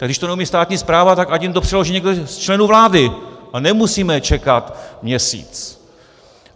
Tak když to neumí státní správa, tak ať jim to přeloží někdo z členů vlády a nemusíme čekat měsíc.